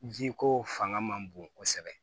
Jiko fanga man bon kosɛbɛ